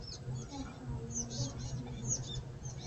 makhaayadaha ii dhow